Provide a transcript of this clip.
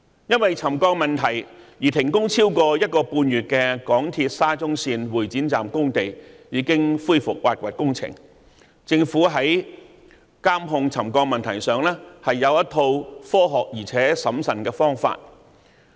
因為沉降問題而停工超過一個半月的港鐵沙中線會展站工地已經恢復挖掘工程，政府在監控沉降問題上有一套科學而且審慎的方法處理。